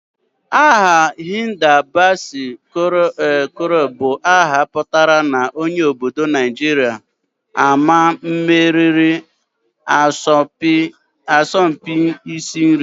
Aha Hilda Baci Conrows bu aha putara na onye obodo Najiria ama mmeriri asọmpi isi nri